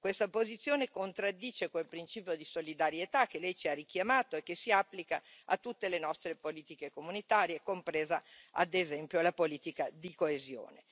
Questa posizione contraddice quel principio di solidarietà che Lei ci ha richiamato e che si applica a tutte le nostre politiche comunitarie compresa ad esempio la politica di coesione.